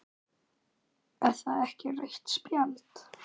Er það ekki rautt spjald?